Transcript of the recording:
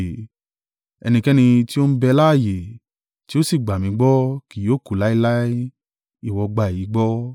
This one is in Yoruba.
Ẹnikẹ́ni tí ó ń bẹ láààyè, tí ó sì gbà mí gbọ́, kì yóò kú láéláé ìwọ gbà èyí gbọ́?”